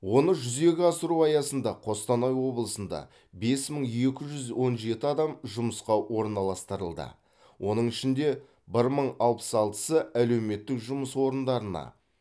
оны жүзеге асыру аясында қостанай облысында бес мың екі жүз он жеті адам жұмысқа орналастырылды оның ішінде бір мың алпыс алтысы әлеуметтік жұмыс орындарына